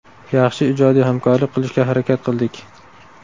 Yaxshi ijodiy hamkorlik qilishga harakat qildik.